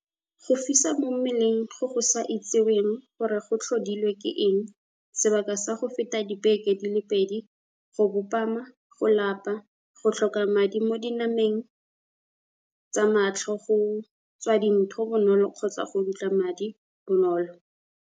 U - Go fisa mo mmeleng go go sa itsiweng gore go tlhodilwe ke eng sebaka sa go feta dibeke di le pedi, go bopama, go lapa, go tlhoka madi mo dinama neng tsa matlho, go tswa dintho bonolo kgotsa go dutla madi bonolo.